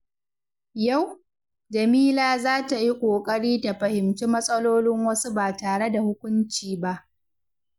Yau, Jamila za ta yi ƙoƙari ta fahimci matsalolin wasu ba tare da hukunci ba.